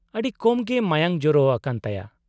-ᱟᱹᱰᱤ ᱠᱚᱢ ᱜᱮ ᱢᱟᱭᱟᱝ ᱡᱚᱨᱚᱣ ᱟᱠᱟᱱ ᱛᱟᱭᱟ ᱾